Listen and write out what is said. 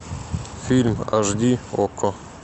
фильм аш ди окко